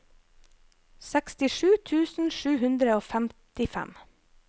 sekstisju tusen sju hundre og femtifem